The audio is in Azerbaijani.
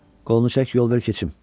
Qolunu çək, yol ver keçim.